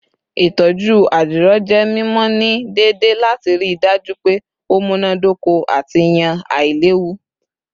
Itọju adiro jẹ mimọ ni deede lati rii daju pe o munadoko ati yan ailewu